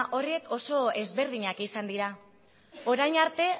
horrek oso ezberdinak izan dira orain arte